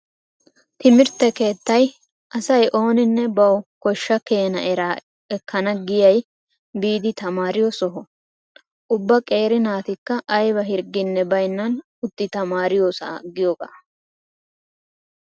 Timirtte keettay asay ooninne bawu koshsha keena eraa ekkana giya aaay biidi tamaariyo soho. Ubba qeeri naatikka ayba hirgginne baynnan utti tamaariyosa giyogaa.